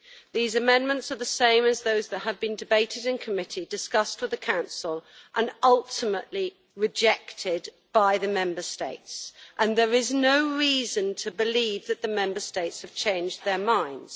These amendments are the same as those that have been debated in committee, discussed with the Council and ultimately rejected by the Member States, and there is no reason to believe that the Member States have changed their minds.